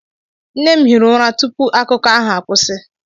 Nne m hiri ụra tupu akụkọ ahụ akwụsị.